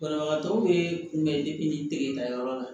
Banabagatɔw bɛ kunbɛn degeta yɔrɔ la